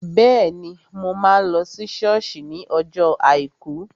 Bẹ́ẹ̀ni, mo máa lọ sí sọ́ọ̀sì ní ọjọ́ àìkú